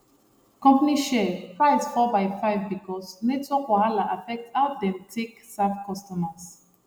company share price fall by five because network wahala affect how dem take serve customers